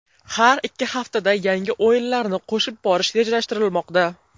Har ikki haftada yangi o‘yinlarni qo‘shib borish rejalashtirilmoqda.